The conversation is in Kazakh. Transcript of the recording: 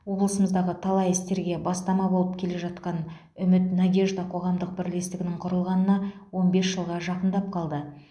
облысымыздағы талай істерге бастама болып келе жатқан үміт надежда қоғамдық бірлестігінің құрылғанына он бес жылға жақындап қалды